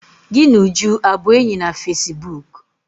Gị na Uju abụ enyi na fesibuuku?